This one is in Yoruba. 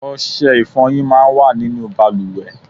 Ọṣẹ ifọyin máa ń wà nínú bàlùwẹ̀.